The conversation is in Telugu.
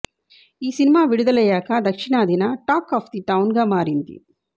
ఈ సినిమా విడదులయ్యాక దక్షిణాదిన టాక్ ఆఫ్ ది టౌన్గా మారింది